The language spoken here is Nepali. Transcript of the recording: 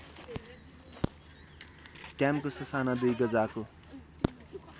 ट्याम्को ससाना दुई गजाको